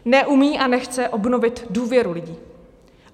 Neumí a nechce obnovit důvěru lidí.